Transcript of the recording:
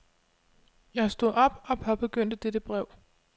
Jeg stod op og påbegyndte dette brev.